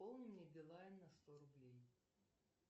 пополни мне билайн на сто рублей